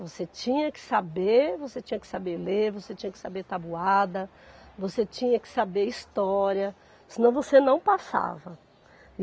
Você tinha que saber, você tinha que saber ler, você tinha que saber tabuada, você tinha que saber história, senão você não passava.